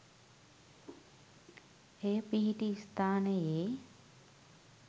එය පිහිටි ස්ථානයේ